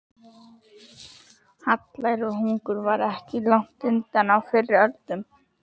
Hallæri og hungur var aldrei langt undan á fyrri öldum.